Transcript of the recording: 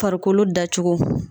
Farikolo dacogo.